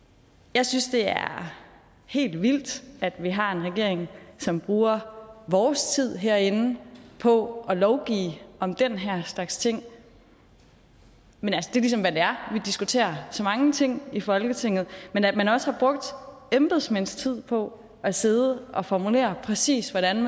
jeg synes det er helt vildt at vi har en regering som bruger vores tid herinde på at lovgive om den her slags ting men det er ligesom hvad det er for diskuterer så mange ting i folketinget men at man også har brugt embedsmænds tid på at sidde og formulere præcis hvordan